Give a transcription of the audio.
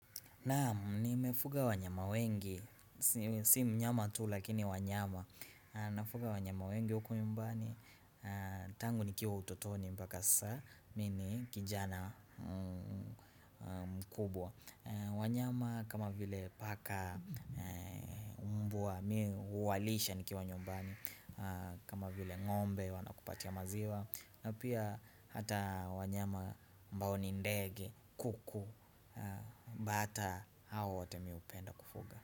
Naam nimefuga wanyama wengi, si si mnyama tu lakini wanyama Nafuga wanyama wengi huku nyumbani, tangu nikiwa utotoni mpaka saa, mimi kijana mkubwa wanyama kama vile paka mbwa, mi huwalisha nikiwa nyumbani kama vile ngombe wanakupatia maziwa na pia hata wanyama ambao ni ndege kuku Mbata hao wote mimi hupenda kufuga.